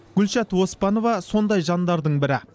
гүлшат оспанова сондай жандардың бірі